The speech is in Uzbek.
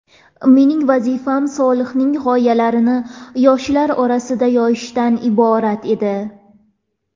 Mening vazifam Solihning g‘oyalarini yoshlar orasida yoyishdan iborat edi.